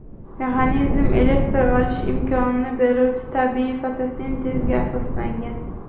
Mexanizm elektr olish imkonini beruvchi tabiiy fotosintezga asoslangan.